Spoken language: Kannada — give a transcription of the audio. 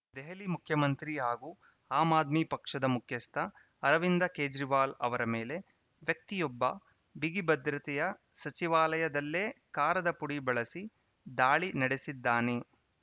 ದೆಹಲಿ ಮುಖ್ಯಮಂತ್ರಿ ಹಾಗೂ ಆಮ್‌ ಆದ್ಮಿ ಪಕ್ಷದ ಮುಖ್ಯಸ್ಥ ಅರವಿಂದ ಕೇಜ್ರಿವಾಲ್‌ ಅವರ ಮೇಲೆ ವ್ಯಕ್ತಿಯೊಬ್ಬ ಬಿಗಿಭದ್ರತೆಯ ಸಚಿವಾಲಯದಲ್ಲೇ ಕಾರದಪುಡಿ ಬಳಸಿ ದಾಳಿ ನಡೆಸಿದ್ದಾನೆ